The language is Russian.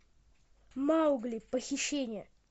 маугли похищение